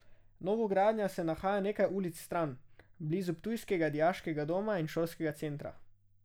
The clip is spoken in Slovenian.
Novogradnja se nahaja nekaj ulic stran, blizu ptujskega dijaškega doma in šolskega centra.